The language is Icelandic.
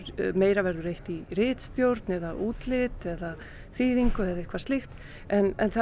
meira verður eytt í ritstjórn eða útlit eða þýðingu eða eitthvað slíkt en það